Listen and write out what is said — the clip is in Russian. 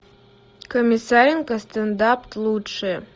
комиссаренко стендап лучшее